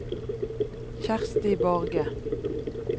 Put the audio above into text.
Kjersti Borge